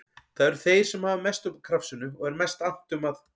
Það eru þeir sem hafa mest upp úr krafsinu og er mest annt um að